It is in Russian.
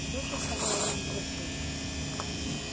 случай сказал один из гостей